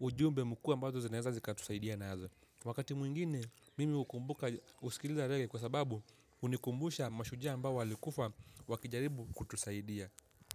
ujumbe mkuu ambazo zinaweza zika tusaidia na hazo. Wakati mwingine, mimi ukumbuka usikiliza rege kwa sababu unikumbusha mashujaa mbawa likufa wakijaribu kutusaidia.